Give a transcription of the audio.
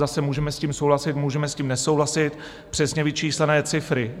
Zase - můžeme s tím souhlasit, můžeme s tím nesouhlasit, přesně vyčíslené cifry.